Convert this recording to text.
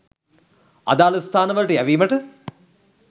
අදාළ ස්ථානවලට යැවීමට